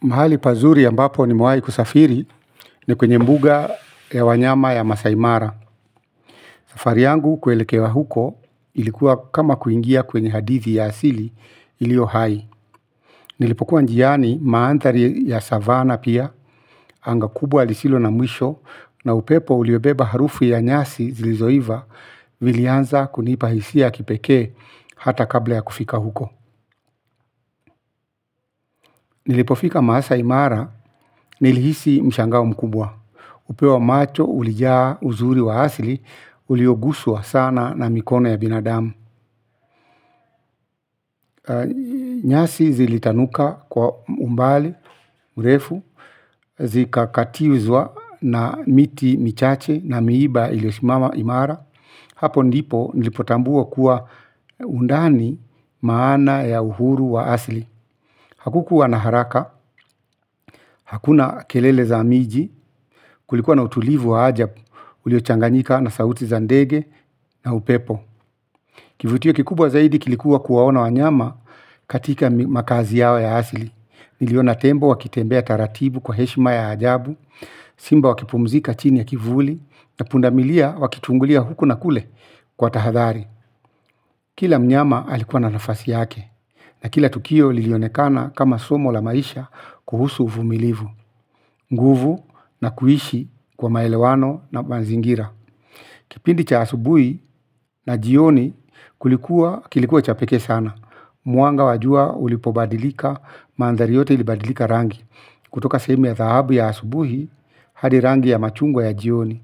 Mahali pazuri ambapo nimewai kusafiri ni kwenye mbuga ya wanyama ya masai mara. Safari yangu kuelekea huko ilikuwa kama kuingia kwenye hadithi ya asili ilio hai. Nilipokuwa njiani maanthari ya savana pia anga kubwa lisilo na mwisho. Na upepo uliyobeba harufu ya nyasi zilizoiva vilianza kunipahisia kipeke hata kabla ya kufika huko. Nilipofika Masaimara nilihisi mshangao mkubwa. Upeo wa macho, ulijaa uzuri wa asli, ulioguswa sana na mikono ya binadamu. Nyasi zilitanuka kwa umbali, mrefu, zika katiwizwa na miti michache na miiba ilisimama imara. Hapo ndipo nilipotambua kuwa undani maana ya uhuru wa asli hakukuwa na haraka hakuna kelele za miji kulikuwa na utulivu wa ajabu uliochanganyika na sauti za nede na upepo. Kivutio kikubwa zaidi kilikuwa kuwaona wanyama katika makazi yao ya asili. Niliona tembo wakitembea taratibu kwa heshima ya ajabu sima wakipumzika chini ya kivulu na punda milia wakitungulia huku na kule kwa tahadhari. Kila mnyama alikuwa na nafasi yake. Na kila tukio lilionekana kama somo la maisha kuhusu uvumilivu. Nguvu na kuishi kwa maelewano na manzingira. Kipindi cha asubuhi na jioni kilikuwa cha peke sana. Mwanga wajua ulipobadilika maandhari yote ilibadilika rangi. Kutoka sehemu ya dhahabu ya asubuhi hadi rangi ya machungwa ya jioni.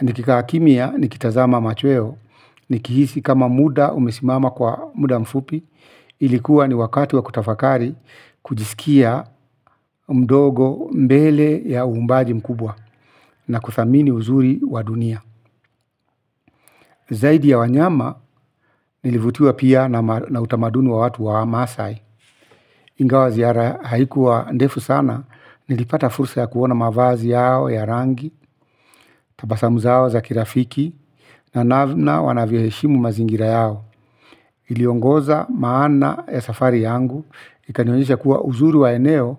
Nikikaa kimya nikitazama machweo nikihisi kama muda umesimama kwa muda mfupi. Ilikuwa ni wakatu wa kutafakari kujisikia mdogo mbele ya uumbaji mkubwa na kuthamini uzuri wa dunia. Zaidi ya wanyama nilivutiwa pia na utamaduni wa watu wa maasai. Ingawa ziara haikuwa ndefu sana nilipata fursa ya kuona mavazi yao ya rangi tabasamu zao za kirafiki na namna wanavyoheshimu mazingira yao. Iliongoza maana ya safari yangu ikanionyesha kuwa uzuru wa eneo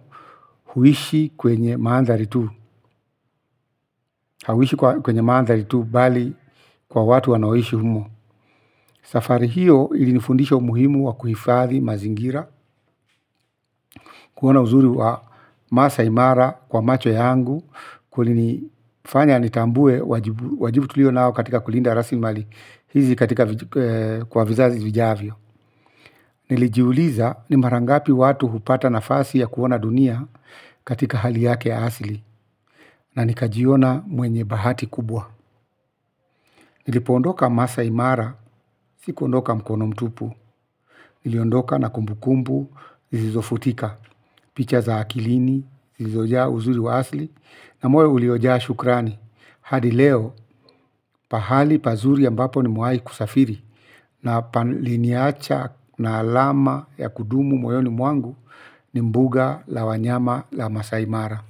huishi kwenye maanthari tu. Hauishi kwenye maanthari tu bali kwa watu wanaoishi humo. Safari hiyo ilinifundisha umuhimu wa kuhifadhi mazingira, kuona uzuri wa masaimara kwa macho yangu, kulini fanya nitambue wajibu tulio nao katika kulinda arasimali, hizi katika kwa vizazi vijavyo. Nilijiuliza ni marangapi watu hupata nafasi ya kuona dunia katika hali yake asli, na nikajiona mwenye bahati kubwa. Nilipoondoka MasaImara, sikuondoka mkono mtupu. Niliondoka na kumbu kumbu, zisizo futika. Picha za akilini zilizo jaa uzuri wa asli no moyo uliojaa shukrani. Hadi leo, pahali pazuri ambapo ni mwai kusafiri, na paliniacha na alama ya kudumu moyoni mwangu ni mbuga la wanyama la Masa Imara.